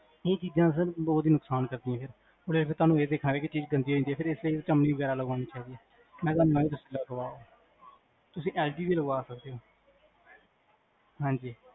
ਇਹ ਚੀਜਾਂ ਸਰ ਬੋਹੋਤ ਹੀ ਨੁਕਸਾਨ ਕਰਦਿਆਂ ਨੇ ਹੁਣ ਏਦੇ ਚ ਤੁਹਾਨੂ ਇਹ ਦੇਖਾਂਗੇ ਚੀਜ ਗੰਦੀ ਹੋ ਜਾਂਦੀ ਹੈ ਫਿਰ ਇਸ ਲਯੀ ਵਗੈਰਾ ਤੁਹਾਨੂੰ ਚਿਮਨੀ ਲਾਗਵਾਨੀ ਚਾਹੀਦੀ ਹੈ ਤੁਸੀਂ ਐਲ ਜੀ ਲਗ ਦੀ ਲਗਵਾ ਸਕਦੇ ਹੋ